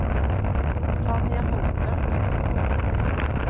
Tanja Holte